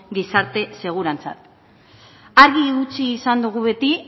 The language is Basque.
gizarte segurantza argi utzi izan dugu beti